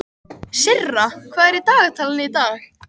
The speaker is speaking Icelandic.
Sirra, hvað er í dagatalinu í dag?